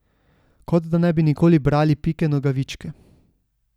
Kot da ne bi nikoli brali Pike Nogavičke.